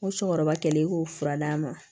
Ko cɔkɔrɔba kɛlen k'o fura d'a ma